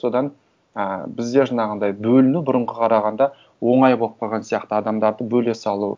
содан ыыы бізде жаңағындай бөліну бұрынға қарағанда оңай болып қалған сияқты адамдарды бөле салу